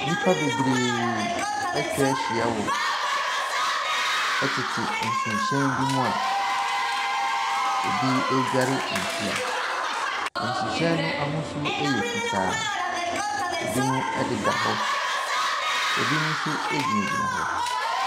Nnipa bebree atwahyia wɔ ɛtete nsuhyɛn bi mu a ebi ɛredware nsuo mu. Nsuhyɛn n'ahosuo ɛyɛ fitaa. Ebinom ɛda hɔ, ebinom nso egyinagyina hɔ.